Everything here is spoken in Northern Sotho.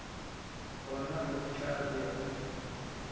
gona o tla be o